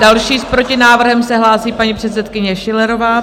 Další s protinávrhem se hlásí paní předsedkyně Schillerová.